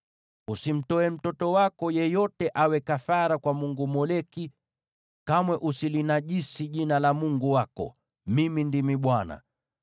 “ ‘Usimtoe mtoto wako yeyote awe kafara kwa mungu Moleki, kwani hutalinajisi kamwe jina la Mungu wako. Mimi ndimi Bwana .